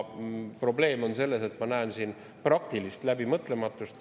Probleem on selles, et ma näen siin praktilist läbimõtlematust.